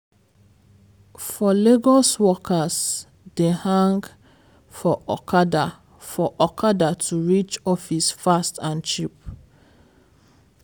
for lagos workers dey hang for okada for okada to reach office fast and cheap.